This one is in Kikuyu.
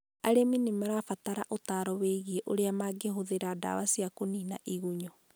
Arĩmi nĩ mabataraga ũtaaro wĩgiĩ ũrĩa mangĩhũthĩra ndawa cia kũnĩina igunyu..